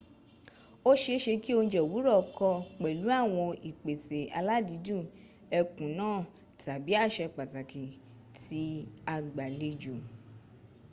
ó seése kí oùnje òwúrọ̀ kọ pẹ̀lú àwọn ìpèsè aládìídù ẹkùn náà tàbí àsè pàtàkì tí agbàlejò